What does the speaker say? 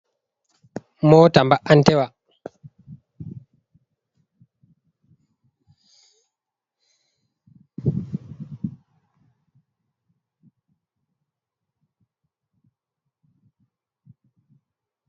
Mota mba'an tewa.